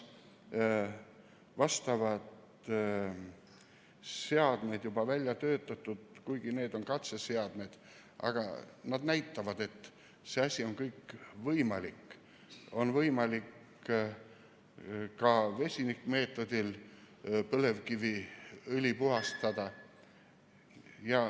Vastavad seadmed on juba välja töötatud, kuigi need on katseseadmed, aga see näitab, et see asi on võimalik, on võimalik ka vesinikmeetodil põlevkiviõli puhastada.